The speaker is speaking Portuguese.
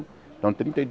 Então, trinta e